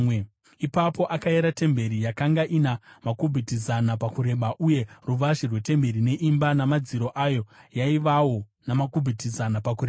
Ipapo akayera temberi; yakanga ina makubhiti zana pakureba, uye ruvazhe rwetemberi neimba namadziro ayo yaivawo namakubhiti zana pakureba.